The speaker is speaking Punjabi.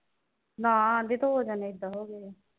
ਨਾ ਬੀਬੀ ਦੋ ਜਣੇ ਏਦਾਂ ਹੋ ਗਏ ਆ।